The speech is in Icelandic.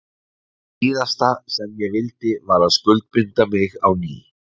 Það síðasta sem ég vildi var að skuldbinda mig á ný.